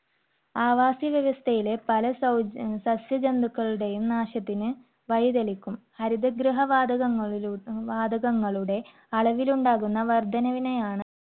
അവാസ വ്യവസ്ഥയിലെ പല സൌജ്~ സസ്യ ജന്തുക്കളുടെയും നാശത്തിന് വഴിതെളിക്കും. ഹരിതഗൃഹ വാതകങ്ങ~ വാതകങ്ങളുടെ അളവിലുണ്ടാകുന്ന വർദ്ധനവിനെയാണ്